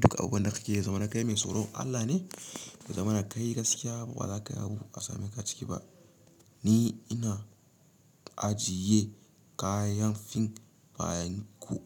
duk abunda kakeyi ya zamana kai mai tsoron Allah ne. Ya zamana kai gaskiya ba za ka yabu a same ka ciki ba. Ni ina ajiye kayan fin bayan ku.